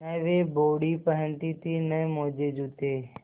न वे बॉडी पहनती थी न मोजेजूते